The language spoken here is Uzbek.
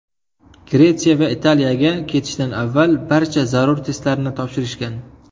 Gretsiya va Italiyaga ketishdan avval barcha zarur testlarni topshirishgan.